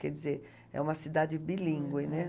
Quer dizer, é uma cidade bilíngue, né?